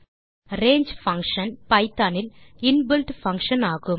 range function Python இல் inbuilt function ஆகும்